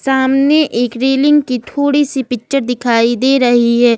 सामने एक रेलिंग की थोड़ी सी पिक्चर दिखाई दे रही है।